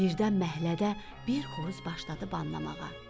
Birdən məhəllədə bir xoruz başladı banlamağa.